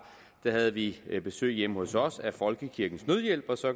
havde vi besøg hjemme hos os af folkekirkens nødhjælp og så